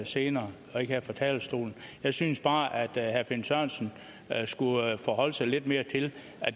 senere og ikke her fra talerstolen jeg synes bare at herre finn sørensen skulle forholde sig lidt mere til